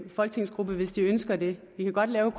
folketingsgruppe hvis de ønsker det vi kan godt lave